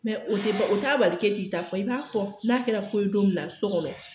Mɛ o te o t'a bali k'e t'i ta fɔ i b'a fɔ n'a kɛra ko ye don min na sɔ kɔnɔ